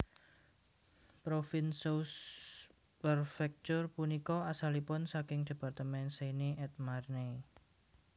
Provins sous préfecture punika asalipun saking département Seine et Marne